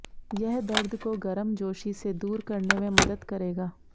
यह दर्द को गर्मजोशी से दूर करने में मदद करेगा